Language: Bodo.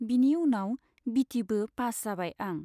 बिनि उनाव बिटि बो पास जाबाय आं।